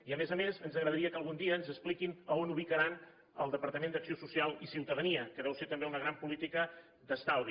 i a més a més ens agradaria que algun dia ens expliquin on ubicaran el departament d’acció social i ciutadania que deu ser també una gran política d’estalvi